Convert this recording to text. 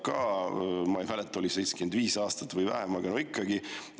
Ma ei mäleta, kas 75 aastaks või vähemaks, aga no ikkagi.